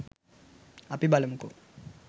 අපි බලමුකෝ